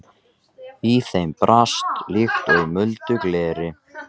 Í þeim brast líkt og í muldu gleri.